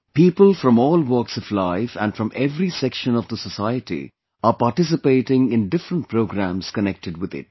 People from all walks of life and from every section of the society are participating in different programs connected with it